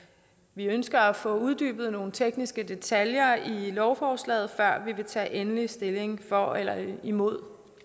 vi ønsker at få uddybet nogle tekniske detaljer i lovforslaget før vi vil tage endelig stilling for eller imod